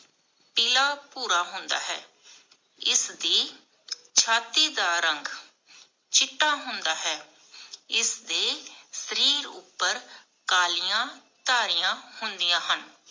ਪੀਲਾ ਭੂਰਾ ਹੁੰਦਾ ਹੈ ਇਸਦੀ ਛਾਤੀ ਦਾ ਰੰਗ ਚਿੱਟਾ ਹੁੰਦਾ ਹੈ ਇਸਦੇ ਸ਼ਰੀਰ ਅਪਰ ਕਾਲੀਆਂ ਧਾਰਿਆ ਹੁੰਦੀਆਂ ਹਨ